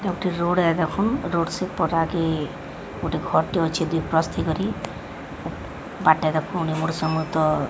ଏଇଟା ଗୋଟେ ରୋଡ୍ ଏଇ ଦେଖୁନ୍ ରୋଡ଼ ସି ପରାକି ଗୋଟେ ଘର୍ଟେ ଅଛି ଦୁଇ ପ୍ରସ୍ତି କରି ବାଟରେ ଫୁଣି ଗୋଟେ ସମୁଦର୍ --